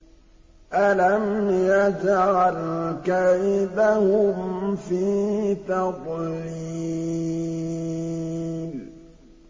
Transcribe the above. أَلَمْ يَجْعَلْ كَيْدَهُمْ فِي تَضْلِيلٍ